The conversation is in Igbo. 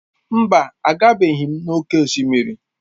Mba, agabeghị m n'oké osimiri.